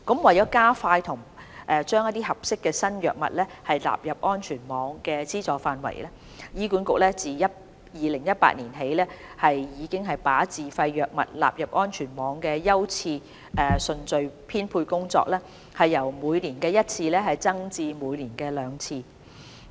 為加快把合適的新藥物納入安全網的資助範圍，醫管局自2018年起已把自費藥物納入安全網的優次順序編配工作，由每年一次增至每年兩次。